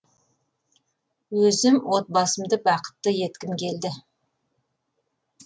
өзім отбасымды бақытты еткім келді